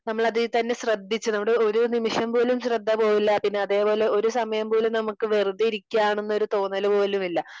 നമ്മൾ അതിൽ തന്നെ ശ്രദ്ധിച്ച് നമ്മുടെ ഒരു നിമിഷം പോലും ശ്രദ്ധ പോവില്ല പിന്നെ അതേപോലെ ഒരു സമയം പോലും നമുക് വെറുതെ ഇരിക്കയാണ് എന്ന തോന്നൽ പോലും ഇല്ല